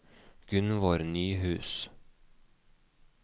Gunnvor Nyhus